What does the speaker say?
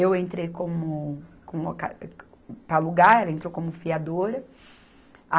Eu entrei como, como loca para alugar, ela entrou como fiadora.